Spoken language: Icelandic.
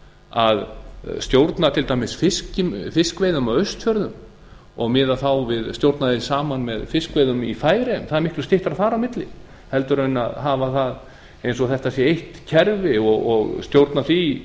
að stjórna til dæmis fiskveiðum á austfjörðum og miða þá við stjórna því saman með fiskveiðum í færeyjum það er miklu styttra að fara á milli heldur en hafa það eins og þetta sé eitt kerfi og stjórna því